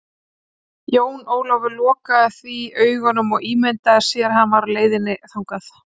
Jón Ólafur lokaði því augunum og ímyndaði sér að hann væri á leiðinni þangað.